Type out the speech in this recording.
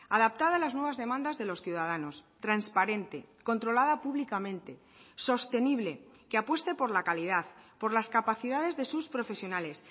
adaptada a las nuevas demandas de los ciudadanos transparente controlada públicamente sostenible que apueste por la calidad por las capacidades de sus profesionales